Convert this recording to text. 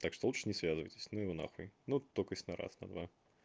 так что лучше не связывайтесь ну его на хуй ну только есть на раз на два